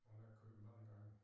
Han har kørt mange gange